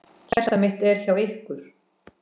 Hjarta mitt er hjá ykkur.